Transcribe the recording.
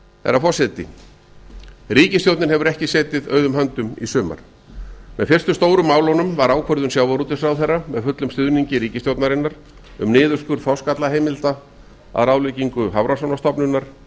herra forseti ríkisstjórnin hefur ekki setið auðum h öndum í sumar með fyrstu stóru málunum var ákvörðun sjávarútvegsráðherra með fullum stuðningi ríkisstjórnarinnar um niðurskurð þorskaflaheimilda að ráðleggingu hafrannsóknastofnunar